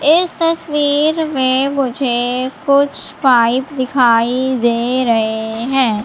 इस तस्वीर में मुझे कुछ पाइप दिखाई दे रहे हैं।